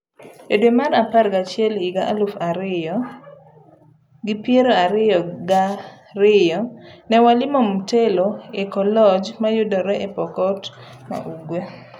Edwe mar apar gachiel higa elufu ariyio ngi piero ariyo ga riyo ,ne walimo Mtelo Eco-lodgemayudre e Pokot ma ugwe.